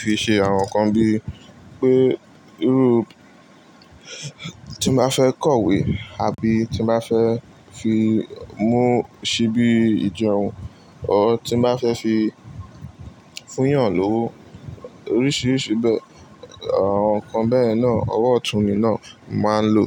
fi ṣe àwọn nǹkan bí pé irú tí mo bá fẹ́ kọ̀wé àbí tí mo bá fẹ́ fi mú ṣíbí ìjẹun, ọ́ tí mo bá fẹ́ fi fúnyàn ló, oríṣiríṣi àwọn nǹkan bẹ́ẹ̀ náà, owó ọ̀tún mi náà màá ń lò.